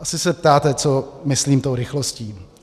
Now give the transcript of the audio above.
Asi se ptáte, co myslím tou rychlostí.